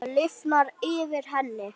Það lifnar yfir henni.